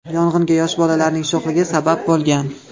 Yong‘inga yosh bolalarning sho‘xligi sabab bo‘lgan.